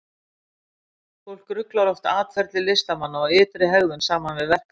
Fólk ruglar oft atferli listamanna og ytri hegðun saman við verk þeirra.